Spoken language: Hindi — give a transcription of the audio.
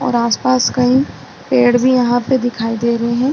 और आस पास कई पेड़ भी यहाँ पे दिखाई दे रहे हैं।